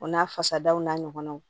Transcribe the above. O n'a fasaw n'a ɲɔgɔnnaw